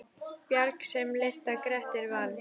Bjarg sem lyfta Grettir vann.